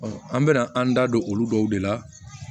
an bɛna an da don olu dɔw de la